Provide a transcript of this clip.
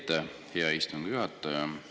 Aitäh, hea istungi juhataja!